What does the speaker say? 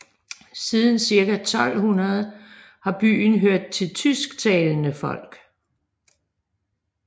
Siden cirka 1200 har byen hørt til tysktalende folk